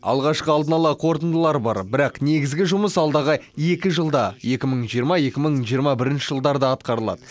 алғашқы алдын ала қорытындылар бар бірақ негізгі жұмыс алдағы екі жылда екі мың жиырма екі мың жиырма бірінші жылдарда атқарылады